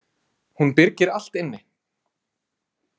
Hún byrgir allt inni.